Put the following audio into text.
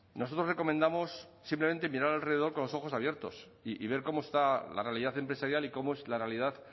nosotros recomendamos simplemente mirar alrededor con los ojos abiertos y ver cómo está la realidad empresarial y cómo es la realidad